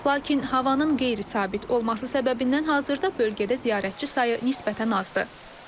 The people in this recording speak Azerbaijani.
Lakin havanın qeyri-sabit olması səbəbindən hazırda bölgədə ziyarətçi sayı nisbətən azdır.